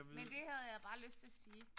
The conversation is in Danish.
Men det havde jeg bare lyst til at sige